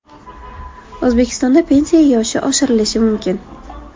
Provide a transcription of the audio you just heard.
O‘zbekistonda pensiya yoshi oshirilishi mumkin .